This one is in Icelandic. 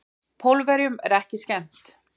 Pólverjunum er ekki skemmt.